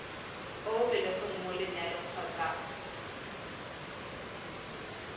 o belegweng mo lenyalong kgotsa